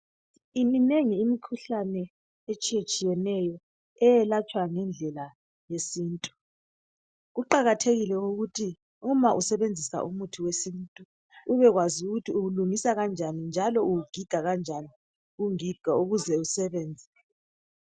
Iminengi imikhuhlane etshiyetshiyeneyo eyelatshwa ngendlela yesintu kuqakathekile ukuthi uma usebenzisa umuthi wesintu ubekwazi ukuthi uwulungisa kanjani njalo uwugiga kanjani ungiga ukuze usebenze